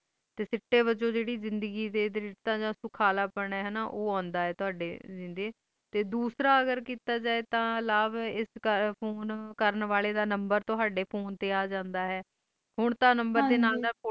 ਤੇ ਐਸੀ ਵਾਂਝੋਂ ਜੇਰੀ ਦਗੀ ਡੇ ਰਿਤੇ ਦਾ ਸੁਖਾਲਾਪੈਨ ਉਹ ਆਂਦਾ ਆਏ ਤੇ ਦੋਸਰਾ ਅਗਰ ਕੀਤਾ ਜੀ ਤੇ ਫੋਨ ਕਰਨ ਆਲੇ ਦਾ ਨੰਬਰ ਤੁਹਡੇ ਫੋਨ ਤੇ ਆ ਜਾਂਦਾ ਆਏ ਹੁਣ ਤਾਂ ਨੰਬਰ ਡੇ ਨਾਲ